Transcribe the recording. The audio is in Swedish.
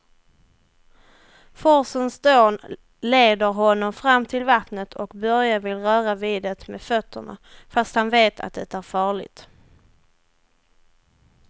Forsens dån leder honom fram till vattnet och Börje vill röra vid det med fötterna, fast han vet att det är farligt.